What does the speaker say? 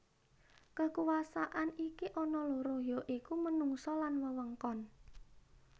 Kekuasaan iki ana loro ya iku menungsa lan wewengkon